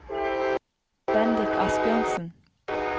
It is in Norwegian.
Bendik Asbjørnsen